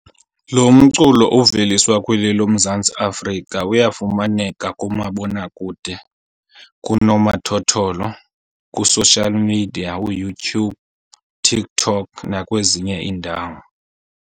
Lo mculo oveliswa kweli loMzantsi Afrika uyafumaneka kumabonakude, kunomathotholo, kwi-social media uYouTube, TikTok nakwezinye iindawo.